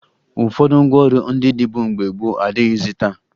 Ụfọdụ ngwaọrụ ndị dịbu mgbe gboo adịghịzị taa